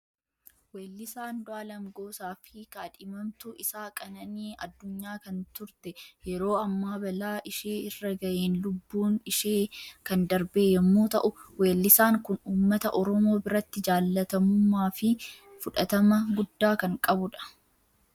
Wellisa Andu'aaleem goosaa fi Kadhimamtuu isaa Qanaanii Addunyaa kan turte yeroo amma balaa ishee irra ga'een lubbuun ishee kan darbee yemmu ta'u, wellisaan kun uummata oromoo biratti jaallatamumma fi fudhatama gudda kan qabudha.